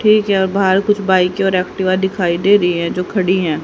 ठीक है और बाहर कुछ बाइके और एक्टिवा दिखाई दे रही हैं जो खड़ी है।